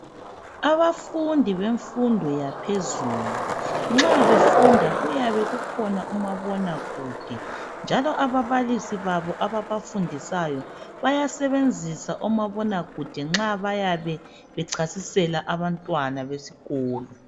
abafundi bemfundo yaphezulu nxa befunda kuyabe kukhona umabona kude njalo ababalisi babo ababafundisa bayasebenzisa omabona kude nxa bayabe bechasisela abantwana besikolo